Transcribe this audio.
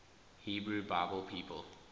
hebrew bible people